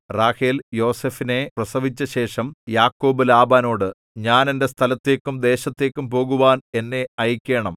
റാഹേൽ യോസേഫിനെ പ്രസവിച്ചശേഷം യാക്കോബ് ലാബാനോട് ഞാൻ എന്റെ സ്ഥലത്തേക്കും ദേശത്തേക്കും പോകുവാൻ എന്നെ അയയ്ക്കേണം